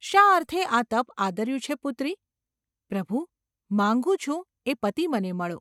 ‘શા અર્થે આ તપ આદર્યું છે, પુત્રી ?’ ‘પ્રભુ ! માગું છું એ પતિ મને મળો.